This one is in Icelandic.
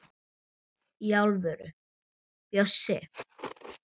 Í alvöru, Bjössi.